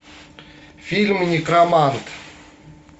фильм некромант